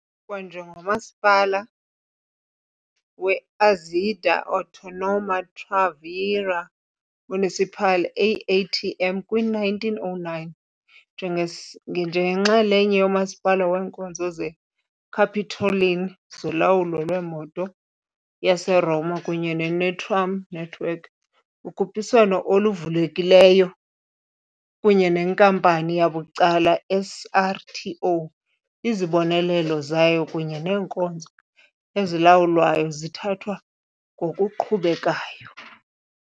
njengomasipala we-Azienda Autonoma Tranviaria Municipale, AATM, kwi-1909 njengenxalenye yomasipala weenkonzo zeCapitoline zolawulo lwemoto yaseRoma kunye netram network kukhuphiswano oluvulekileyo kunye nenkampani yabucala SRTO, izibonelelo zayo kunye neenkonzo ezilawulwayo zithatha ngokuqhubekayo.